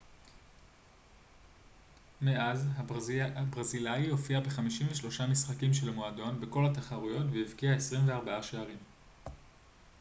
מאז הברזילאי הופיע ב-53 משחקים של המועדון בכל התחרויות והבקיע 24 שערים